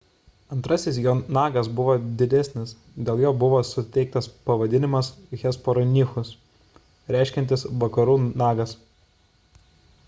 antrasis jo nagas buvo didesnis dėl jo buvo suteiktas pavadinimas hesperonychus reiškiantis vakarų nagas